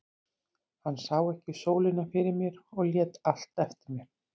Hann sá ekki sólina fyrir mér og lét allt eftir mér.